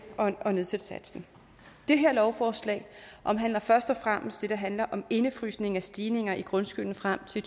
at nedsætte satsen det her lovforslag omhandler først og fremmest det der handler om indefrysning af stigninger i grundskylden frem til